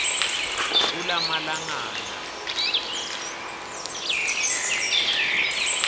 kulamalangana